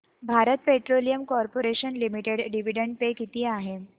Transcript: Bharat petroleum corporation limited dividend pay किती आहे